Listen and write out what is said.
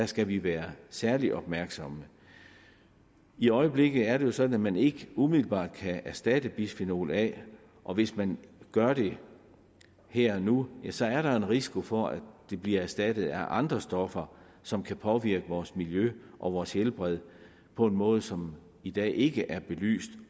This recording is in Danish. skal vi være særlig opmærksomme i øjeblikket er det sådan at man ikke umiddelbart kan erstatte bisfenol a og hvis man gør det her og nu ja så er der en risiko for at det bliver erstattet af andre stoffer som kan påvirke vores miljø og vores helbred på en måde som i dag ikke er belyst